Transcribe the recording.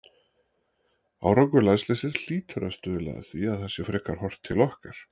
Árangur landsliðsins hlýtur að stuðla að því að það sé frekar horft til okkar.